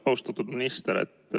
Austatud minister!